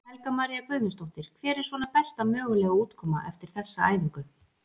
Helga María Guðmundsdóttir: Hver er svona besta mögulega útkoma eftir þessa æfingu?